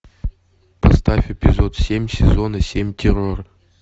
поставь эпизод семь сезона семь террор